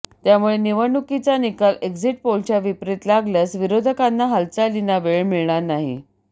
त्यामुळे निवडणुकीचा निकाल एक्झिट पोलच्या विपरीत लागल्यास विरोधकांना हालचालींना वेळ मिळणार नाही